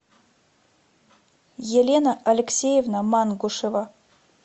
елена алексеевна мангушева